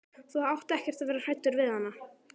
Þú átt ekkert að vera hræddur við hana.